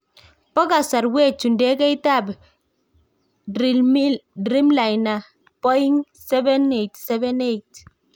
Bo kasarwech chu ndegeit ab Dreamliner Boing 787-8